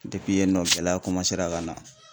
Depi yen nɔ gɛlɛya komasera ka na